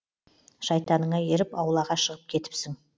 шайтаныңа еріп аулаға шығып кетіпсің